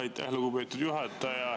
Aitäh, lugupeetud juhataja!